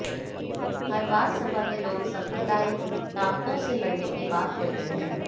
हर बार सपा के लोग सांप्रदायिक ताकतों से लडऩे की बात करते हैं